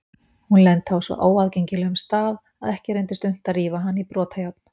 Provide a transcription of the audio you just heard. Hún lenti á svo óaðgengilegum stað að ekki reyndist unnt að rífa hana í brotajárn.